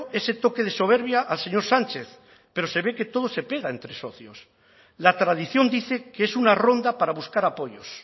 ese toque de soberbia al señor sánchez pero se ve que todo se pega entre socios la tradición dice que es una ronda para buscar apoyos